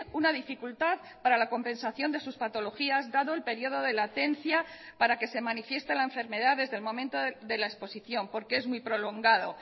una dificultad para la compensación de sus patologías dado el periodo de latencia para que se manifieste la enfermedad desde el momento de la exposición porque es muy prolongado